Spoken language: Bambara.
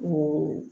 O